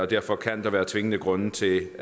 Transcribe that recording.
derfor kan der være tvingende grunde til